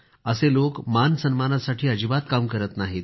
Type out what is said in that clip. असे लोक मानसन्मानासाठी अजिबात काम करत नाहीत